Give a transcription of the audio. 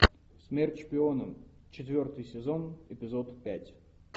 смерть шпионам четвертый сезон эпизод пять